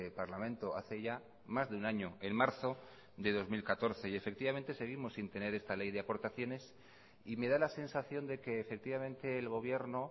parlamento hace ya más de un año en marzo de dos mil catorce y efectivamente seguimos sin tener esta ley de aportaciones y me da la sensación de que efectivamente el gobierno